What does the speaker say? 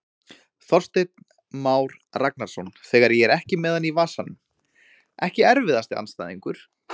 Þorsteinn Már Ragnarsson þegar ég er ekki með hann í vasanum Ekki erfiðasti andstæðingur?